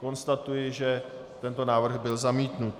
Konstatuji, že tento návrh byl zamítnut.